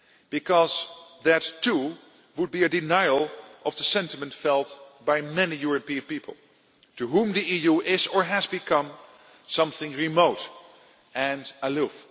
Because that too would be a denial of the sentiment felt by many European people, to whom the EU is or has become something remote and